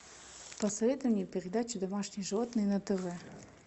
посоветуй мне передачу домашние животные на тв